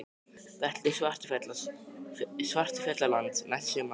Við ætlum til Svartfjallalands næsta sumar.